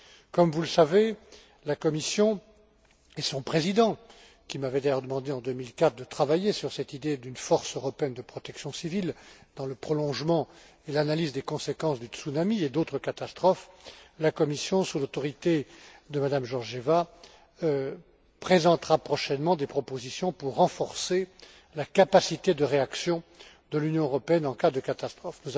Comme vous le savez, la Commission et son président, qui m'avait d'ailleurs demandé en 2004 de travailler sur cette idée d'une force européenne de protection civile, dans le prolongement et l'analyse des conséquences du tsunami et d'autres catastrophes sous l'autorité de Mme Georgieva, présentera prochainement des propositions pour renforcer la capacité de réaction de l'Union européenne en cas de catastrophe.